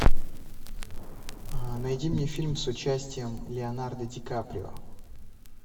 найди мне фильм с участием леонардо ди каприо